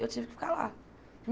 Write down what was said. Eu tive que ficar lá.